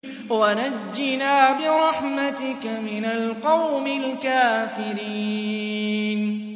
وَنَجِّنَا بِرَحْمَتِكَ مِنَ الْقَوْمِ الْكَافِرِينَ